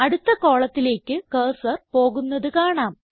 അടുത്ത കോളത്തിലേക്ക് കർസർ പോകുന്നത് കാണാം